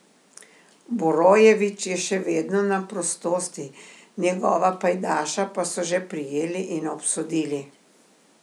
Borojevič je še vedno na prostosti, njegova pajdaša pa so že prijeli in obsodili.